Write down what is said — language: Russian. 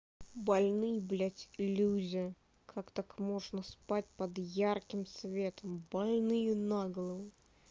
больные блять люди как так можно спать под ярким светом больные наголову